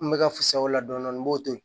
N bɛ ka fisa o la dɔɔnin dɔɔnin n b'o to yen